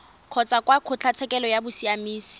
kgotsa kwa kgotlatshekelo ya bosiamisi